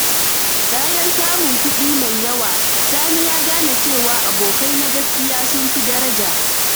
Bayan samun kuɗi mai yawa, Sani ya gane cewa abokai na gaskiya sun fi daraja.